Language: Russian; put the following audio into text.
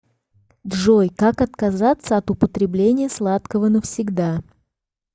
джой как отказаться от употребления сладкого навсегда